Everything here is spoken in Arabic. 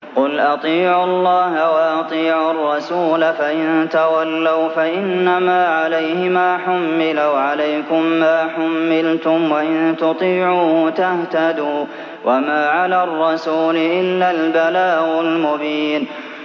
قُلْ أَطِيعُوا اللَّهَ وَأَطِيعُوا الرَّسُولَ ۖ فَإِن تَوَلَّوْا فَإِنَّمَا عَلَيْهِ مَا حُمِّلَ وَعَلَيْكُم مَّا حُمِّلْتُمْ ۖ وَإِن تُطِيعُوهُ تَهْتَدُوا ۚ وَمَا عَلَى الرَّسُولِ إِلَّا الْبَلَاغُ الْمُبِينُ